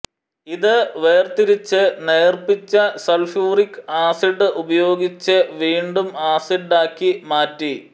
ഇത് വേർതിരിച്ച് നേർപ്പിച്ച സൾഫ്യൂറിക് ആസിഡ് ഉപയോഗിച്ച് വീണ്ടും ആസിഡാക്കി മാറ്റി